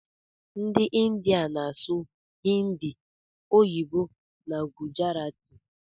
Ndi india na asụ hindi, oyibo na gujarati.